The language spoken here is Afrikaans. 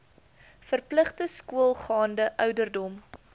verpligte skoolgaande ouderdom